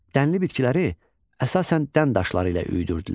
Dənli bitkiləri əsasən dən daşları ilə üyüdürdülər.